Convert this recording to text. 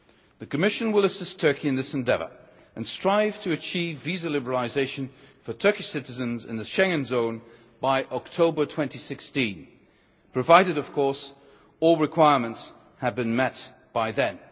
that. The Commission will assist Turkey in this endeavour, and strive to achieve visa liberalisation for Turkish citizens in the Schengen area by October 2016, provided, of course, that all requirements have been met by